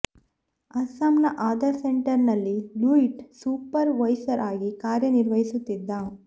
ಅಸ್ಸಾಂನ ಆಧಾರ್ ಸೆಂಟರ್ ನಲ್ಲಿ Luit supervisor ಆಗಿ ಕಾರ್ಯನಿರ್ವಹಿಸುತ್ತಿದ್ದ